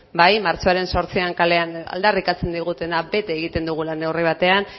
bai martxoaren zortzian kalean aldarrikatzen digutena bete egiten dugula neurri batean